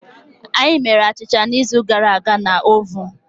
Anyị emere achịcha n'izu gara aga na ovun.